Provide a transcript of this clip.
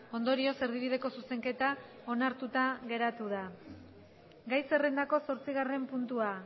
ondorioz erdibideko zuzenketa onartuta geratu da gai zerrendako zortzigarren puntua